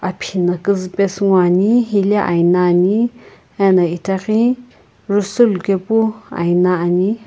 aphi na kuzupesu ngoani hile aina ani jusulukepu aina ani.